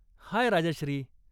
हाय, Rajshri.